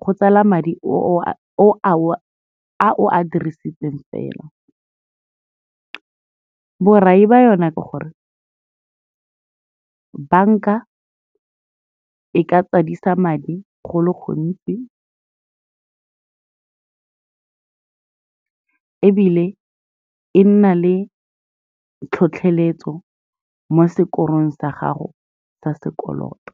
go tsala madi a o a dirisitseng fela. Borai ba yona ke gore, banka e ka tsadisa madi go le gontsi ebile e nna le tlhotlheletso mo sekorong sa gago sa sekoloto,